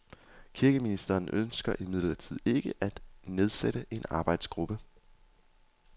Kirkeministeren ønsker imidlertid ikke at nedsætte en arbejdsgruppe.